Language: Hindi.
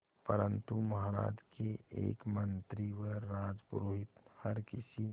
परंतु महाराज के एक मंत्री व राजपुरोहित हर किसी